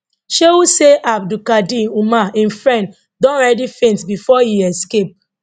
shehu say abdulkadir umar im friend don already faint before e escape